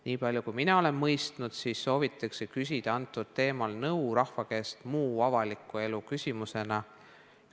Niipalju kui mina olen mõistnud, soovitakse sel teemal rahva käest nõu küsida muu avaliku elu küsimuse vormis.